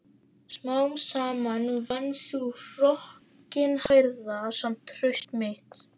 Smám saman vann sú hrokkinhærða samt traust mitt.